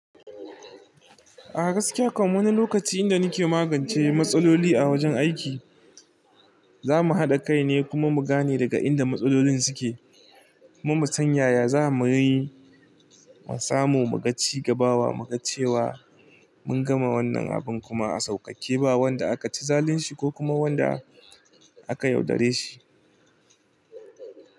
A gaskiya kam wani lokaci inda ni ke magance matsaloli a wajen aiki, za mu haɗa kai ne kuma mu gane daga inda matsalolin suke, kuma mu san yaya, za mu yi musamun mu ga cigabawa, mu ga cewa mun gama wannan abin kuma a sauƙaƙe ba wanda aka ci zalunci ko kuma wanda aka yaudare shi.